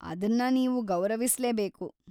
ಅದನ್ನ ನೀವು ಗೌರವಿಸ್ಲೇಬೇಕು.